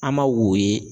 An m'a wo ye